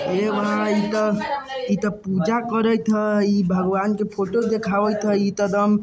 ऐ मा इ इतो पूजा करत है भगवान का फोटो दिखावत है इ तो एकदम --